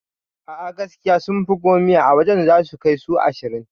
A'a gaskiya sunfi gomiya a wajan zasu kai su ashirin